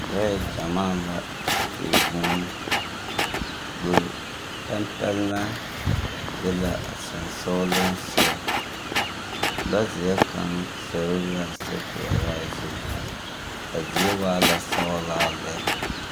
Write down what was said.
Lɔɛ gyamaa la di vũũ. Pɛmpɛlmɛ be la a sonsogleŋsogɔ, lɔzeɛ kaŋ zoro la a sokoɔraa zu. A zie waa la sɔglaa lɛ.